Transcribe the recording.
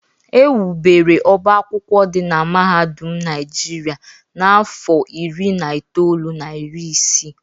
Ewubere ọbá akwụkwọ dị na Mahadum Naijiria n’afọ iri na itoolu na iri isii.